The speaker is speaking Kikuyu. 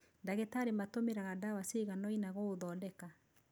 Ndagĩtarĩ matũmiraga dawa ciganoina gũũthodeka.